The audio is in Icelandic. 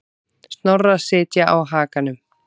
Snorra sitja á hakanum.